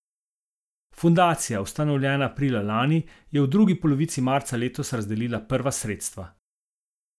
Fundacija, ustanovljena aprila lani, je v drugi polovici marca letos razdelila prva sredstva.